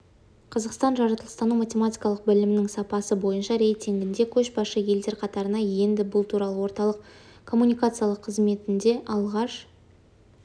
қазақстан жаратылыстану-математикалық білімнің сапасы бойынша рейтингінде көшбасшы елдер қатарына енді бұл туралы орталық коммуникациялар қызметінде алғаш